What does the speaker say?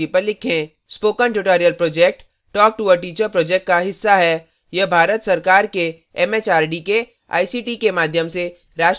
spoken tutorial project talktoa teacher project का हिस्सा है यह भारत सरकार के एमएचआरडी के आईसीटी के माध्यम से राष्ट्रीय साक्षरता mission द्वारा समर्थित है